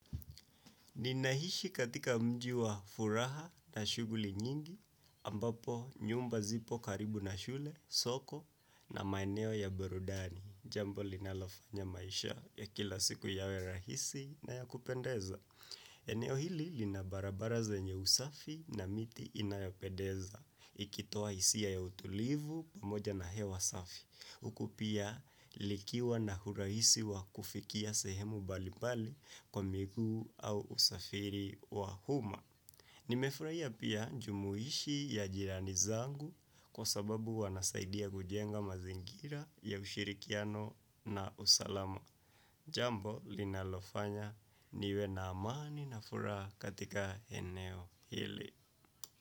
Ninaishi katika mji wa furaha na shughuli nyingi, ambapo nyumba zipo karibu na shule, soko, na maeneo ya burudani, jambo linalofanya maisha ya kila siku yawe rahisi na ya kupendeza. Eneo hili lina barabara zenye usafi na miti inayopendeza, ikitoa hisia ya utulivu pamoja na hewa safi. Huku pia likiwa na urahisi wa kufikia sehemu mbalimbali kwa miguu au usafiri wa umma. Nimefurahia pia jumuishi ya jirani zangu kwa sababu wanasaidia kujenga mazingira ya ushirikiano na usalama. Jambo linalofanya niwe na amani na furaha katika eneo hili.